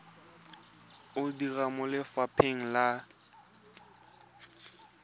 o dira mo lefapheng la